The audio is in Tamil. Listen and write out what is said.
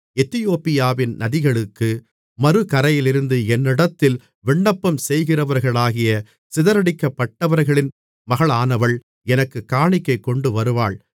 எத்தியோப்பியாவின் நதிகளுக்கு மறுகரையிலிருந்து என்னிடத்தில் விண்ணப்பம்செய்கிறவர்களாகிய சிதறடிக்கப்பட்டவர்களின் மகளானவள் எனக்குக் காணிக்கை கொண்டுவருவாள்